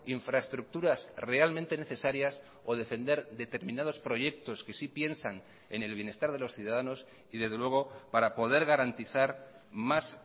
infraestructuras realmente necesarias o defender determinados proyectos que sí piensan en el bienestar de los ciudadanos y desde luego para poder garantizar más